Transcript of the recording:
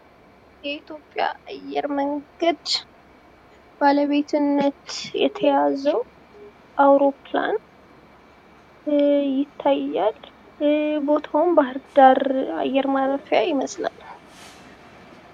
የኢትዮጵያ አየር መንገድ ባለቤትነት የተያዙ አውሮፕላን ይታያል። ቦታውም ባህር ዳር አየር ማረፊያ ይመስላል።